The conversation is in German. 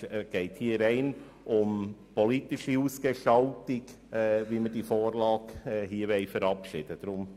Es geht nun rein um die politische Ausgestaltung, wie wir diese Vorlage hier verabschieden wollen.